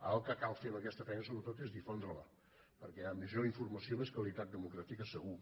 ara el que cal fer amb aquesta feina sobretot és difondre la perquè a major informació més qualitat democràtica segur